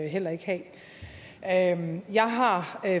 heller ikke have jeg har